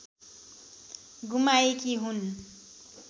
गुमाएकी हुन्